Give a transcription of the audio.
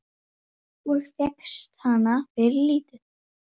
Það er á tali.